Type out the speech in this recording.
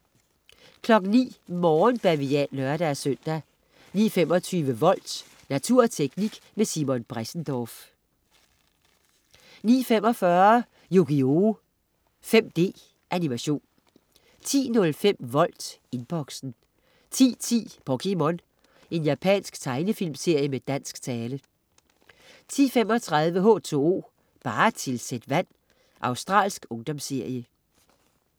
09.00 Morgenbavian (lør-søn) 09.25 Volt. Natur og teknik med Simon Bressendorff 09.45 Yugioh 5D. Animation 10.05 Volt Inboxen 10.10 POKéMON. Japansk tegnefilmserie med dansk tale 10.35 H2O, bare tilsæt vand. Australsk ungdomsserie